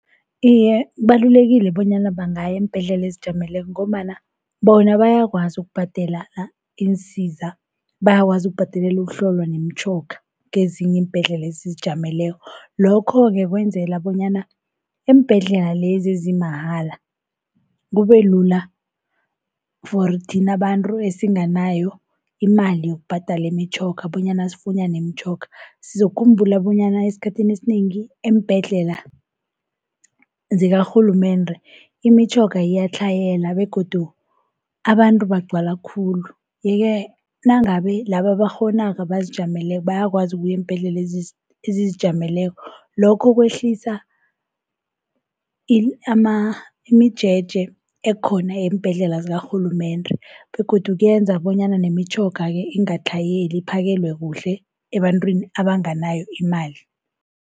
Iye, kubalulekile bonyana bangaya eembhedlela ezizijameleko ngombana bona bayakwazi ukubhadela iinsiza, bayakwazi ukubhadelela ukuhlolwa nemitjhoga kezinye iimbhedlela ezizijameleko. Lokho-ke kwenzela bonyana eembhedlela lezi ezimahala kubelula for thina abantu esinganayo imali yokubhadala imitjhoga bonyana sifunyane imitjhoga. Sizokukhumbula bonyana esikhathini esinengi eembhedlela zikarhulumende imitjhoga iyatlhayela begodu abantu bagcwala khulu. Yeke nangabe laba abakghonako, abazijameleko bayakwazi ukuya eembhedlela ezizijameleko lokho kwehlisa imijeje ekhona eembhedlela zakaRhulumende. Begodu kuyenza bonyana nemitjhoga-ke ingatlhayeli iphakelwe kuhle ebantwini abanganayo imali.